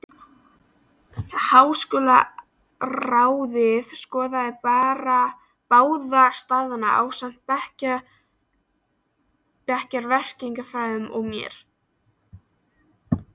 Háskólaráðið skoðaði báða staðina, ásamt bæjarverkfræðingnum og mér.